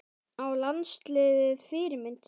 Á landsliðið Fyrirmynd?